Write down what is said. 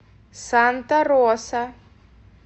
санта роса